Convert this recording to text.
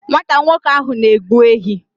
Nwata nwoke ahụ na-egbu ehi.